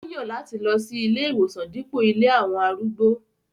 Ó yan lati lọ si ìlé-iwosan dipo ilé awọn arúgbó.